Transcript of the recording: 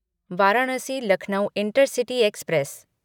Varanasi Lucknow intercity express